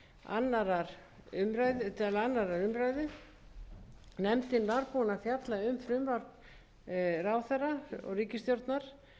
annarrar umræðu nefndin var búin að fjalla um frumvarp ráðherra og ríkisstjórnar